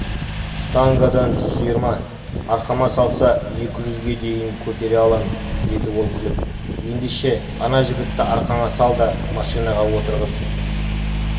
штангадан жүз жиырма арқама салса екі жүзге дейін көтере алам деді ол күліп ендеше ана жігітті аркаңа сал да машинаға отырғыз